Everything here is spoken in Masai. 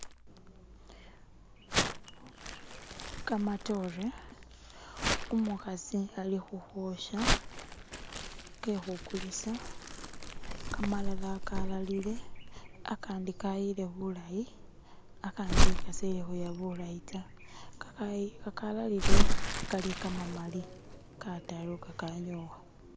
kamatore umukhasi ali hukhwosha kekhukulisa kamalala kalalile akandi kayile bulayi akandi kasi huya bulayi ta kakalalile kali kamamali kataru kakanyowa